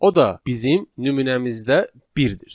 O da bizim nümunəmizdə birdir.